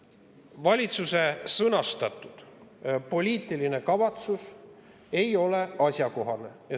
Valitsuse sõnastatud poliitiline kavatsus ei ole asjakohane.